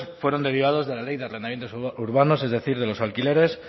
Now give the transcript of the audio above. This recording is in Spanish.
fueron derivados de la ley de urbanos es decir de los alquileres